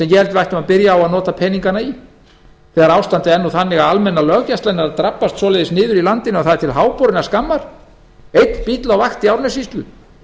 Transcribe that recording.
ættum að byrja á að nota peningana í þegar ástandið er nú þannig að almenna löggæslan er að drabbast niður að það er til háborinnar skammar einn bíll á vakt í árnessýslu